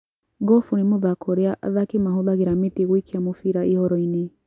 Golf nĩ mũthako ũrĩa athaki mahũthagĩra mĩtĩ gũikia mĩbira ihoro-inĩ.